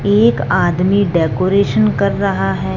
एक आदमी डेकोरेशन कर रहा हैं।